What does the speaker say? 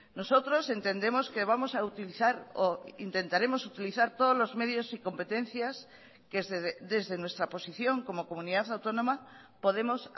nosotros entendemos que vamos a utilizar o intentaremos utilizar todos los medios y competencias que desde nuestra posición como comunidad autónoma podemos